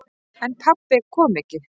En pabbi kom ekki.